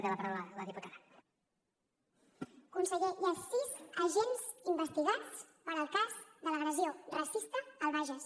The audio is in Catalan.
conseller hi ha sis agents investigats pel cas de l’agressió racista al bages